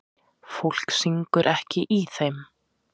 Fólk syngur ekki í þeim.